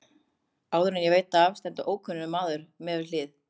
Áður en ég veit af stendur ókunnur maður við hlið mér.